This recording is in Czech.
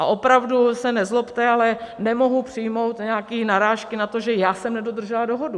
A opravdu se nezlobte, ale nemohu přijmout nějaké narážky na to, že já jsem nedodržela dohodu.